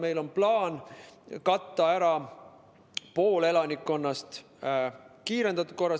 Meil on plaan katta kiirendatud korras ära pool elanikkonnast.